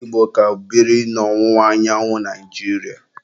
Ndi Igbo ka biri n'ọwụwa anyanwụ Naijiria.